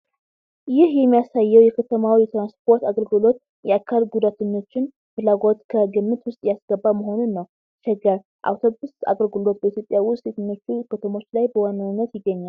ይህ የሚያሳየው የከተማው የትራንስፖርት አገልግሎት የአካል ጉዳተኞችን ፍላጎት ከግምት ውስጥ ያስገባ መሆኑን ነው።"ሸገር" አውቶቡስ አገልግሎት በኢትዮጵያ ውስጥ የትኞቹ ከተሞች ላይ በዋናነት ይገኛል?